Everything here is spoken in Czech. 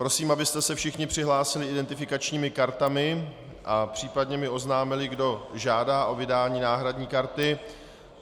Prosím, abyste se všichni přihlásili identifikačními kartami a případně mi oznámili, kdo žádá o vydání náhradní karty.